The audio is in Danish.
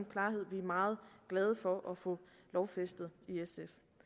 meget glade for at få lovfæstet